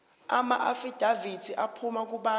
amaafidavithi aphuma kubantu